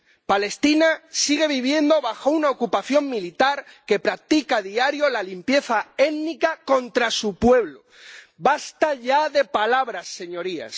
Palestina sigue viviendo bajo una ocupación militar que practica a diario la limpieza étnica contra su pueblo. ¡Basta ya de palabras, señorías!